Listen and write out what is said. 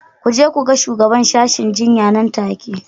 Ku je ku ga shugaban sashen jinya nan take